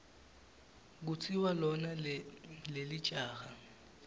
kutsi lona lelijaha